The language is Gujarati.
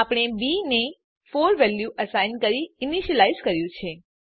આપણે બી ને 4 વેલ્યુ અસાઇન કરીને ઈનીશ્યલાઈઝ કર્યું છે